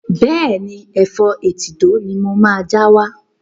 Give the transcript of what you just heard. Bẹ́ẹ̀ni, Ẹ̀fọ́ etídò ni mo máa já wá.